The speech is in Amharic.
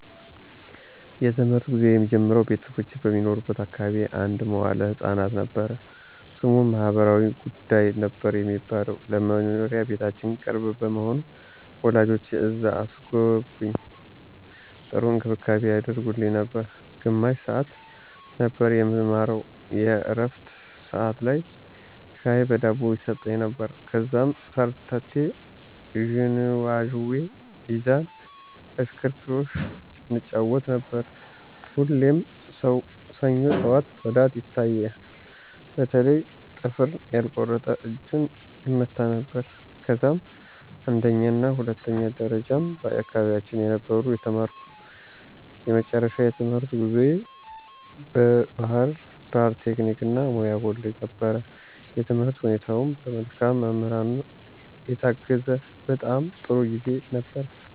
የ ትምህርት ጉዞየ የሚጀምረው ቤተሰቦቼ በሚኖሩበት አካባቢ አንድ መዋለ ህፃናት ነበር። ስሙም ማህበራዊ ጉዳይ ነበር የሚባለው። ለ መኖሪያ ቤታችን ቅርብ በመሆኑ ወላጆቼ እዛ አስገቡኝ .ጥሩ እንክብካቤ ያደርጉልን ነበር። ግማሽ ሰዓት ነበር የምንማረው የ ዕረፍት ሠዓት ላይ ሻይ በ ዳቦ ይሰጠን ነበር። ከዛም ሸርተቴ, ዥዋዥዌ, ሚዛን ,እሽክርክሮሽ እንጫወት ነበር። ሁሌም ሰኞ ጠዋት ፅዳት ይታያል በተለይ ጥፍሩን ያልቆረጠ እጁን ይመታ ነበረ። ከዛም አንደኛና ሁለተኛ ደረጃም በ አካባቢየ ነበር የተማርኩ። የመጨረሻው የትምህርት ጉዞየ ባ ህርዳር ቴክኒክ እና ሙያ ኮሌጅ ነበር። የትምህርት ሁኔታውም በ መልካም መምህራን የታገዘ በጣም ጥሩ ጊዜ ነበር።